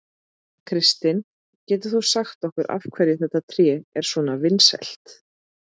Kristinn, getur þú sagt okkur af hverju þetta tré er svona vinsælt?